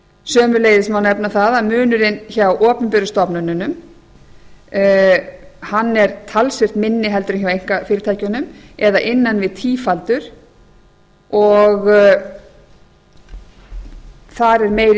sömuleiðis má nefna það að munurinn hjá opinberu stofnunum er talsvert minni heldur en hjá einkafyrirtækjunum eða innan við tífaldur og þar er meiri